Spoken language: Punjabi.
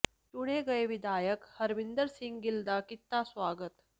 ਚੁਣੇ ਗਏ ਵਿਧਾਇਕ ਹਰਮਿੰਦਰ ਸਿੰਘ ਗਿੱਲ ਦਾ ਕੀਤਾ ਸਵਾਗਤ